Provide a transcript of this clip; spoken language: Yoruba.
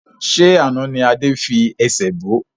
Ṣé àná ni Adé fi ẹsẹ̀ bo?